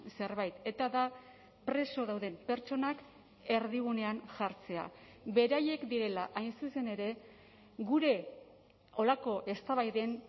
zerbait eta da preso dauden pertsonak erdigunean jartzea beraiek direla hain zuzen ere gure horrelako eztabaiden